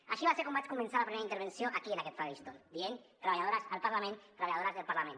així va ser com vaig començar la primera intervenció aquí en aquest faristol dient treballadores al parlament treballadores del parlament